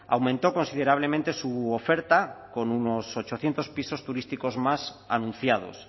ha aumentó considerablemente su oferta con unos ochocientos pisos turísticos más anunciados